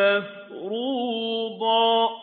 مَّفْرُوضًا